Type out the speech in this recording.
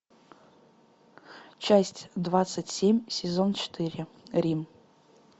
часть двадцать семь сезон четыре рим